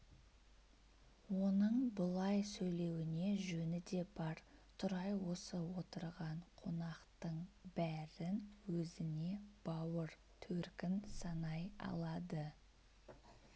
оның бұлай сөйлеуіне жөні де бар тұрай осы отырған қонақтың бәрін өзіне бауыр төркін санай алады